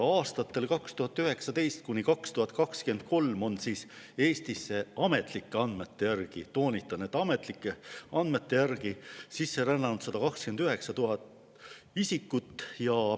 Aastatel 2019–2023 rändas Eestisse ametlike andmete järgi – toonitan, et ametlike andmete järgi – sisse 129 000 isikut.